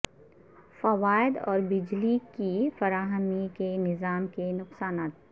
فوائد اور بجلی کی فراہمی کے نظام کے نقصانات